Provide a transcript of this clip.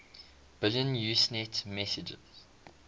billion usenet messages